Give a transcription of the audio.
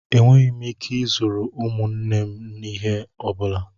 Enweghị m ike ịzụrụ ụmụnne m ihe ọ bụla.